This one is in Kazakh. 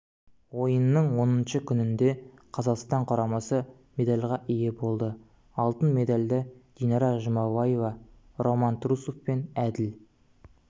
ойынның оныншы күнінде қазақстан құрамасы медальға ие болды алтын медальді динара жұмабаева роман трусов пен әділ